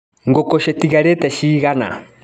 Ngũkũ citigarĩte cigana.